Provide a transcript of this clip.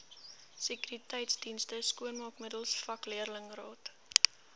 sekuriteitsdienste skoonmaakmiddels vakleerlingraad